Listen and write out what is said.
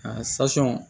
A